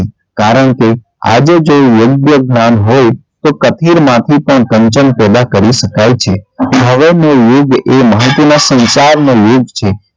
કારણકે આજે જો યોગ્ય જ્ઞાન હોય તો કથીર માંથી પણ કંચન પેદા કરી શકાય છે હવે નો યુગ એ માહિતીના સંચાર નો યુગ છે.